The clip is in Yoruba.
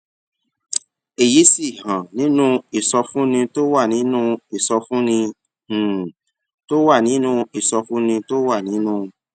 èyí sì hàn nínú ìsọfúnni tó wà nínú ìsọfúnni um tó wà nínú ìsọfúnni tó wà nínú